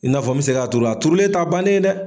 I n'a fɔ bɛ se k' a turu, a turulen ta bannen ye dɛ.